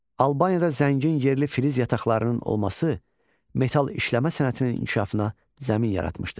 Albaniyada zəngin yerli filiz yataqlarının olması metal işləmə sənətinin inkişafına zəmin yaratmışdı.